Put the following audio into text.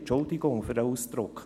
Entschuldigen Sie den Ausdruck.